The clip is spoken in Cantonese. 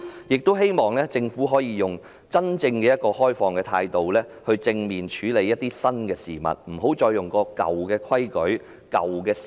我也希望政府可以採取真正開放的態度，正面處理新事物，不要再使用舊規矩、舊思維。